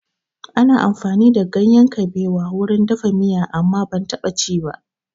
Ana amfani da ganyen kaɓewa wurin dafa miya amma ban taɓa ci ba